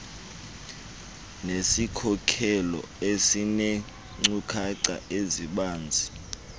nesikhokelo esineenkcukacha ezibanzi